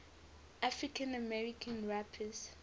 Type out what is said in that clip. african american rappers